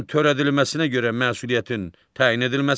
onların törədilməsinə görə məsuliyyətin təyin edilməsi.